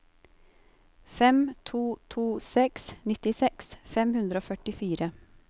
fem to to seks nittiseks fem hundre og førtifire